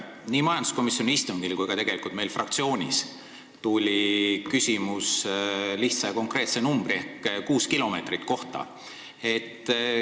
Nii majanduskomisjoni istungil kui ka meil fraktsioonis tekkis küsimus konkreetse kriteeriumi, kuue kilomeetri kohta.